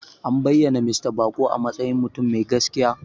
An bayyana Mista Bako a matsayin mutum mai gaskiya.